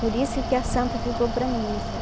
Por isso que a santa ficou para mim, sabe?